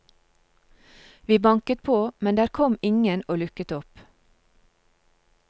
Vi banket på, men der kom ingen og lukket opp.